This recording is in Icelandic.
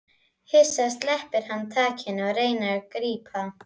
Hissa sleppir hann takinu og reynir að grípa.